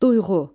Duyğu.